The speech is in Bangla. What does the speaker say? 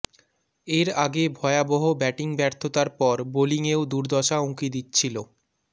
এর আগে ভয়াবহ ব্যাটিং ব্যর্থতার পর বোলিংয়েও দুর্দশা উঁকি দিচ্ছিল